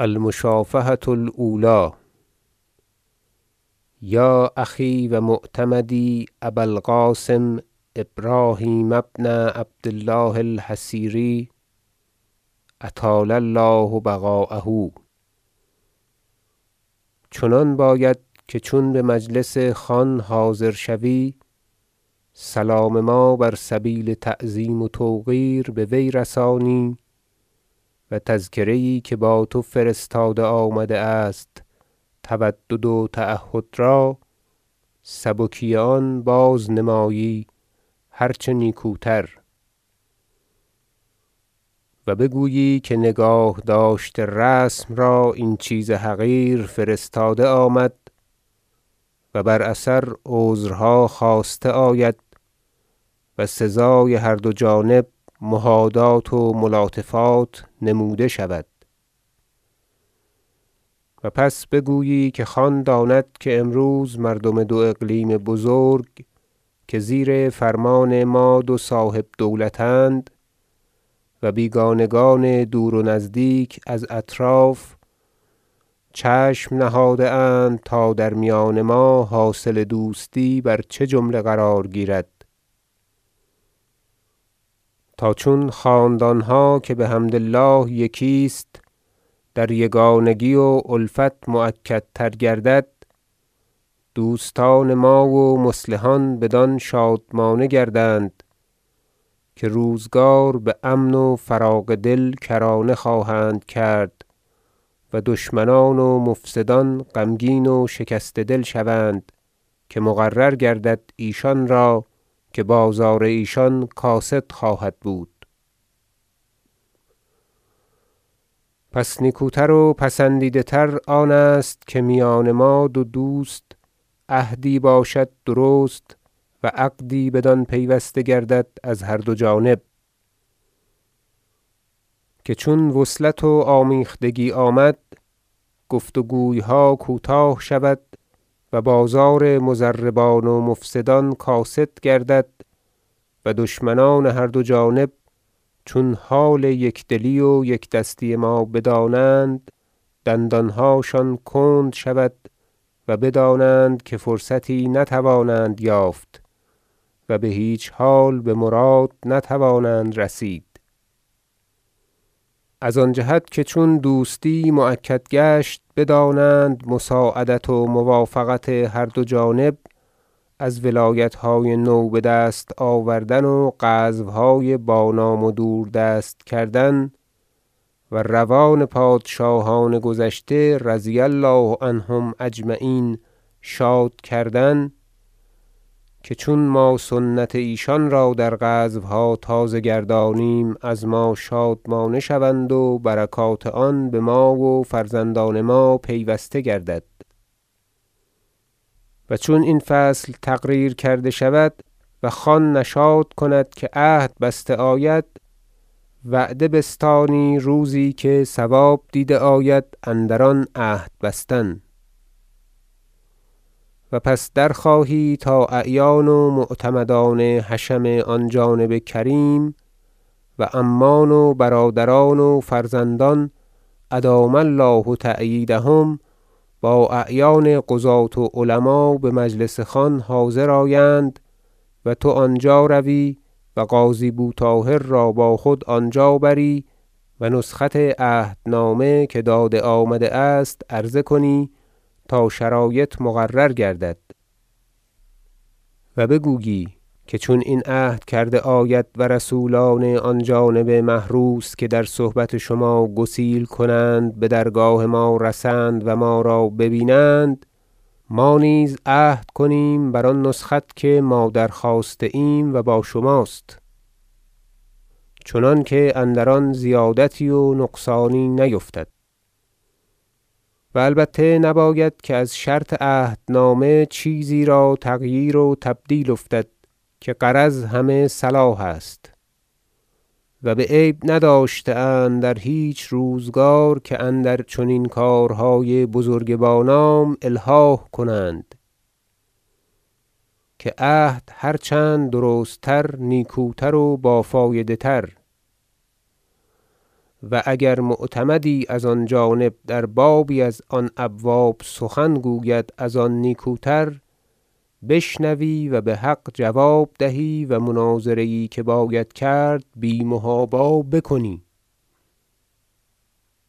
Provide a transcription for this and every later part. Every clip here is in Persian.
المشافهة الاولی یا اخی و معتمدی ابا القاسم ابراهیم بن عبد الله الحصیری اطال الله بقاءک چنان باید که چون بمجلس خان حاضر شوی سلام ما بر سبیل تعظیم و توقیر به وی رسانی و تذکره یی که با تو فرستاده آمده است تودد و تعهد را سبکی آن بازنمایی هرچه نیکوتر و بگویی که نگاه داشت رسم را این چیز حقیر فرستاده آمد و بر اثر عذرها خواسته آید و سزای هر دو جانب مهادات و ملاطفات نموده شود و پس بگویی که خان داند که امروز مردم دو اقلیم بزرگ که زیر فرمان ما دو صاحب دولت اند و بیگانگان دور و نزدیک از اطراف چشم نهاده اند تا در میان ما حاصل دوستی بر چه جمله قرار گیرد تا چون حال میان خاندانها که بحمد الله یکی است در یگانگی و الفت مؤکدتر گردد دوستان ما و مصلحان بدان شادمانه گردند که روزگار بأمن و فراغ دل کرانه خواهند کرد و دشمنان و مفسدان غمگین و شکسته دل شوند که مقرر گردد ایشان را که بازار ایشان کاسد خواهد بود پس نیکوتر و پسندیده تر آنست که میان ما دو دوست عهدی باشد درست و عقدی بدان پیوسته گردد از هر دو جانب که چون وصلت و آمیختگی آمد گفت وگویها کوتاه شود و بازار مضربان و مفسدان کاسد گردد و دشمنان هر دو جانب چون حال یک دلی و یک دستی ما بدانند دندانهاشان کند شود و بدانند که فرصتی نتوانند یافت و بهیچ حال بمراد نتوانند رسید از آن جهت که چون دوستی مؤکد گشت بدانند مساعدت و موافقت هر دو جانب از ولایتهای نو بدست آوردن و غزوهای بانام و دوردست کردن و روان پادشاهان گذشته رضی الله عنهم اجمعین شاد کردن که چون ما سنت ایشان را در غزوها تازه گردانیم از ما شادمانه شوند و برکات آن بما و بفرزندان ما پیوسته گردد و چون این فصل تقریر کرده شود و خان نشاط کند که عهد بسته آید وعده بستانی روزی که صواب دیده آید اندر آن عهد بستن و پس درخواهی تا اعیان و معتمدان حشم آن جانب کریم و عمان و برادران و فرزندان ادام الله تأییدهم با اعیان قضاة و علما بمجلس خان حاضر آیند و تو آنجا روی و قاضی بو طاهر را با خود آنجا بری و نسخت عهدنامه که داده آمده است عرضه کنی تا شرایط مقرر گردد و بگویی که چون این عهد کرده آید و رسولان آن جانب محروس که در صحبت شما گسیل کنند بدرگاه ما رسند و ما را ببینند ما نیز عهد کنیم بر آن نسخت که ما در- خواسته ایم و با شماست چنانکه اندر آن زیادتی و نقصانی نیفتد و البته نباید که از شرط عهدنامه چیزی را تغییر و تبدیل افتد که غرض همه صلاح است و بعیب نداشته اند در هیچ روزگار که اندر چنین کارهای بزرگ با نام الحاح کنند که عهد هرچند درست تر نیکوتر و بافایده تر و اگر معتمدی از آن جانب در بابی از آن ابواب سخنی گوید از آن نیکوتر بشنوی و بحق جواب دهی و مناظره یی که باید کرد بی محابا بکنی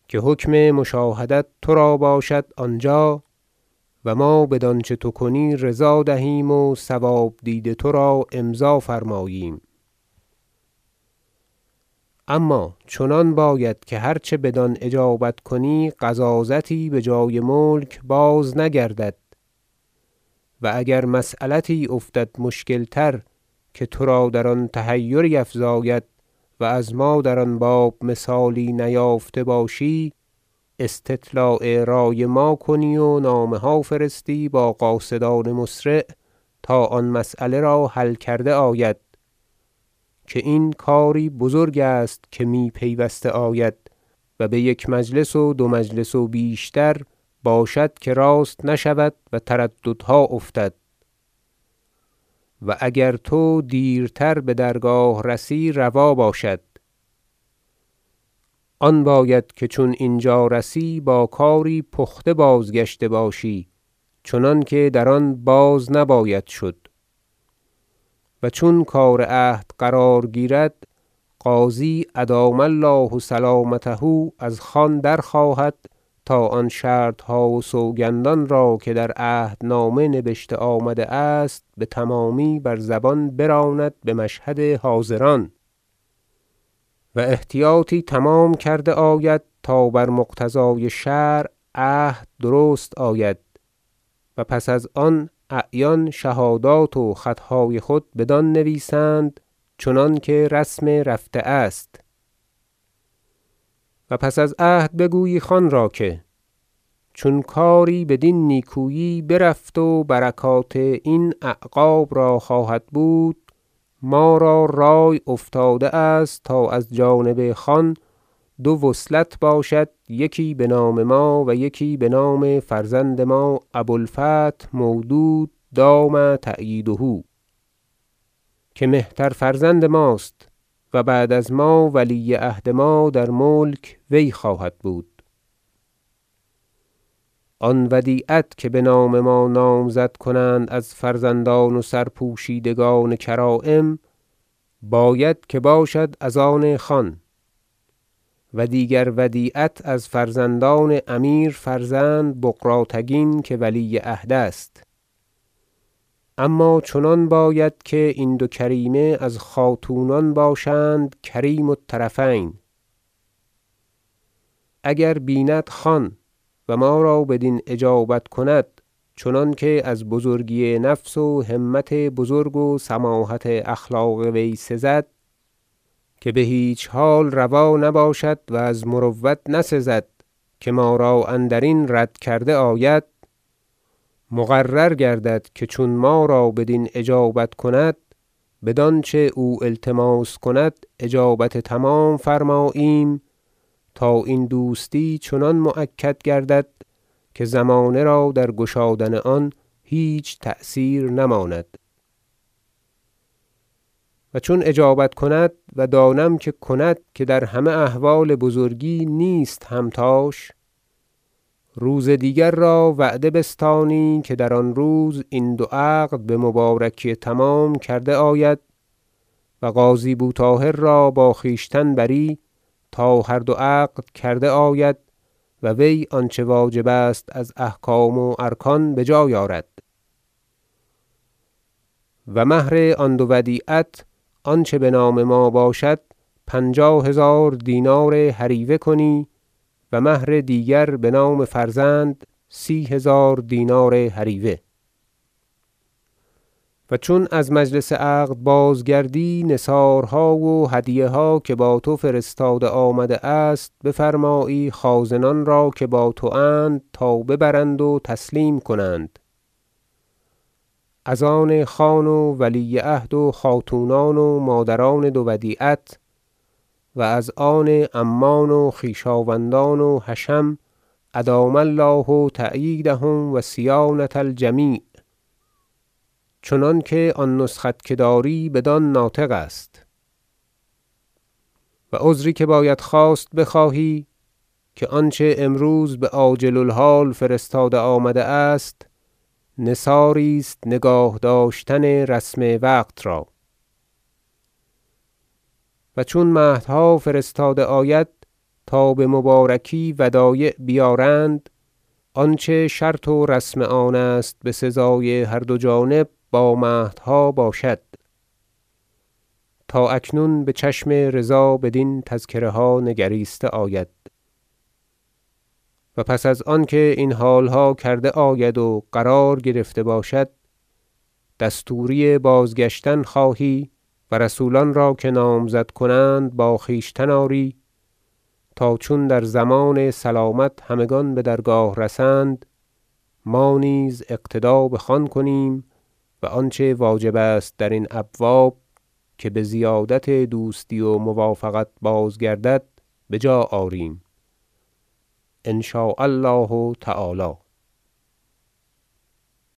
که حکم مشاهدت ترا باشد آنجا و ما بدانچه تو کنی رضا دهیم و صواب دید ترا امضا فرماییم اما چنان باید که هرچه بدان اجابت کنی غضاضتی بجای ملک بازنگردد و اگر مسیلتی افتد مشکل تر که ترا در آن تحیری افزاید و از ما در آن باب مثالی نیافته باشی استطلاع رأی ما کنی و نامه ها فرستی با قاصدان مسرع تا آن مسیله را حل کرده آید که این کاری بزرگ است که می پیوسته آید و بیک مجلس و دو مجلس و بیشتر باشد که راست نشود و ترددها افتد و اگر تو دیرتر بدرگاه رسی روا باشد آن باید که چون اینجا رسی با کاری پخته بازگشته باشی چنانکه در آن باز نباید شد و چون کار عهد قرار گیرد قاضی ادام الله سلامته از خان درخواهد تا آن شرطها و سوگندان را که در عهدنامه نبشته آمده است بتمامی بر زبان براند بمشهد حاضران و احتیاطی تمام کرده آید تا بر مقتضای شرع عهد درست آید و پس از آن اعیان شهادات و خطهای خود بدان نویسند چنانکه رسم رفته است و پس از عهد بگویی خان را که چون کاری بدین نیکویی برفت و برکات این اعقاب را خواهد بود ما را رأی افتاده است تا از جانب خان دو وصلت باشد یکی بنام ما و یکی بنام فرزند ما ابو الفتح مودود دام تأییده که مهتر فرزند ماست و بعد از ما ولی عهد ما در ملک وی خواهد بود آن ودیعت که بنام ما نامزد کنند از فرزندان و سرپوشیدگان کرایم باید که باشد از آن خان و دیگر ودیعت از فرزندان امیر فرزند بغراتگین که ولی عهد است اما چنان باید که این دو کریمه از خاتونان باشند کریم الطرفین اگر بیند خان و ما را بدین اجابت کند چنانکه از بزرگی نفس و همت بزرگ و سماحت اخلاق وی سزد- که بهیچ حال روا نباشد و از مروت نسزد که ما را اندرین رد کرده آید- مقرر گردد که چون ما را بدین اجابت کند بدانچه او التماس کند اجابت تمام فرماییم تا این دوستی چنان مؤکد گردد که زمانه را در گشادن آن هیچ تأثیر نماند و چون اجابت کند- و دانم که کند که در همه احوال بزرگی نیست همتاش - روز دیگر را وعده بستانی که در آن روز این دو عقد بمبارکی تمام کرده آید و قاضی بو طاهر را با خویشتن بری تا هر دو عقد کرده آید و وی آنچه واجب است از احکام و ارکان بجای آرد و مهر آن دو ودیعت آنچه بنام ما باشد پنجاه هزار دینار هریوه کنی و مهر دیگر بنام فرزند سی هزار دینار هریوه و چون از مجلس عقد بازگردی نثارها و هدیه ها که با تو فرستاده آمده است بفرمایی خازنان را که با تواند تا ببرند و تسلیم کنند از آن خان و ولی عهد و خاتونان و مادران دو ودیعت و از آن عمان و خویشاوندان و حشم ادام الله تأییدهم و صیانة الجمیع چنانکه آن نسخت که داری بدان ناطق است و عذری که باید خواست بخواهی که آنچه امروز بعاجل الحال فرستاده آمده است نثاری است نگاهداشتن رسم وقت را و چون مهدها فرستاده آید تا بمبارکی ودایع بیارند آنچه شرط و رسم آنست بسزای هر دو جانب با مهدها باشد تا اکنون بچشم رضا بدین تذکره ها نگریسته آید و پس از آنکه این حالها کرده آید و قرار گرفته باشد دستوری بازگشتن خواهی و رسولان را که نامزد کنند با خویشتن آری تا چون در ضمان سلامت همگان بدرگاه رسند ما نیز اقتدا بخان کنیم و آنچه واجب است درین ابواب که بزیادت دوستی و موافقت بازگردد بجا آریم ان شاء الله تعالی